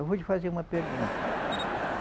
Eu vou te fazer uma pergunta.